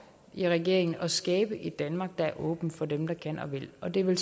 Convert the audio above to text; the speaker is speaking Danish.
i regeringen at skabe et danmark der er åbent for dem der kan og vil og det er vel